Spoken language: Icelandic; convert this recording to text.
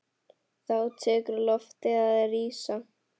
Þá tekur loftið að rísa.